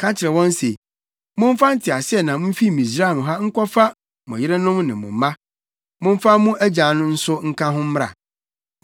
“Ka kyerɛ wɔn se, ‘Momfa nteaseɛnam mfi Misraim ha nkɔfa mo yerenom ne mo mma. Momfa mo agya nso nka ho mmra.